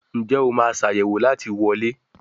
Njé o ma Ṣàyẹ̀wò láti wọlé?